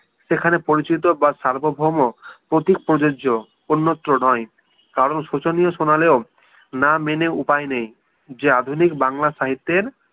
সেখানে পরিচিত বা সার্বভৌম প্রতিক প্রযোজ্য অন্যত্র নয় কারণ শোচনীয় শোনালেও না মেনে উপায় নেই যে আধুনিক বাংলা science এর